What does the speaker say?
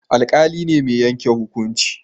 Alƙali ne mai yanke hukunci